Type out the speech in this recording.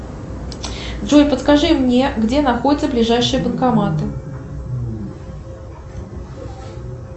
джой подскажи мне где находятся ближайшие банкоматы